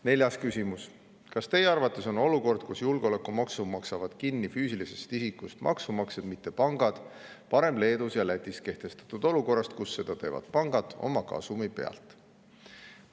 Neljas küsimus: "Kas Teie arvates on olukord, kus julgeolekumaksu maksavad kinni füüsilistest isikutest maksumaksjad ja mitte pangad, parem Leedus ja Lätis kehtestatud olukorrast, kus seda teevad pangad oma kasumi pealt?